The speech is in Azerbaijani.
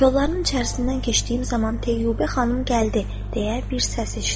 Kolların içərisindən keçdiyim zaman Teyyubə xanım gəldi deyə bir səs eşitdim.